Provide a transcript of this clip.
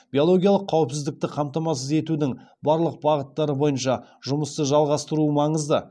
биологиялық қауіпсіздікті қамтамасыз етудің барлық бағыттары бойынша жұмысты жалғастыру маңызды